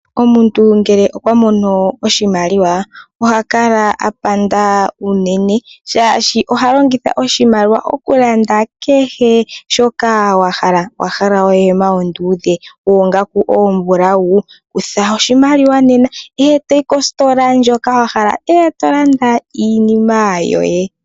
Omuntu ngele okwa mono oshimaliwa, oha kala apanda unene shaashi oha longitha oshimaliwa okulanda kehe shoka ahala. Owa hala ohema onduudhe, oongaku oombulau ? Kutha oshimaliwa nena eto yi kositola ndjoka wuhole eto landa iinima yoye .